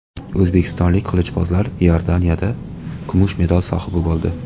O‘zbekistonlik qilichbozlar Iordaniyada kumush medal sohibi bo‘ldi.